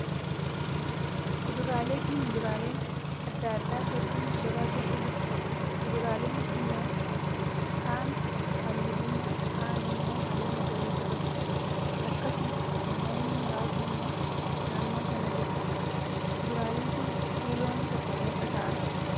Kuduraalee fi muduraaleen adda addaa hedduun gabaa keessa jiru. Kuduraaleen kunneen ka'aan halluu diimaa, kaan immoo halluu magariisa qabu. Akkasuma namoonni muraasni immoo naannoo sana jiru. Kuduraaleen kun kiiloon tokko meeqa ta'a?